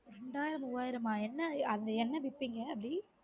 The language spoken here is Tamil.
ரெண்டாயிரம் மூவாயிரமா என்ன அது என்ன விப்பீங்க அப்டி